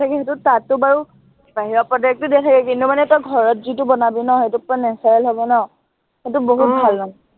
তাতটো বাৰু, বাহিৰা product ও দেখায়েই, কিন্তু মানে তই ঘৰত যিটো বনাবি ন, সেইটো পূৰা natural হব ন, সেইটো বহুত ভাল মানে।